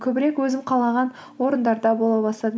көбірек өзім қалаған орындарда бола бастадым